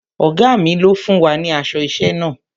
Ọ̀gá mi ló fún wa ní aṣọ iṣẹ́ náà.